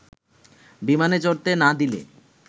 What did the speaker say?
বিমানে চড়তে না দিলে